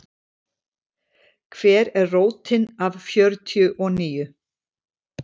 Hver er rótin af fjörtíu og níu?